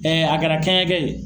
a kɛra kɛɲɛkɛ ye.